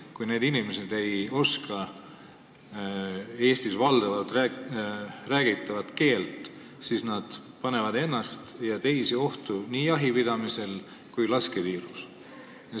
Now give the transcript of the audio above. Kui need inimesed ei oska Eestis valdavalt räägitavat keelt, siis nad panevad ennast ja teisi ohtu nii jahipidamisel kui ka lasketiirus.